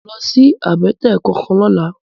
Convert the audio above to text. Mi ó lòsi àbètè kánkán lòlá